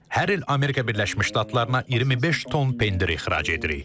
Biz hər il Amerika Birləşmiş Ştatlarına 25 ton pendir ixrac edirik.